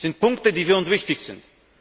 Das sind Punkte, die für uns wichtig sind.